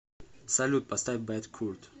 салют поставь бэдкурт